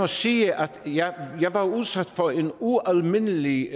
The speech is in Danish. sige at jeg var udsat for en ualmindelig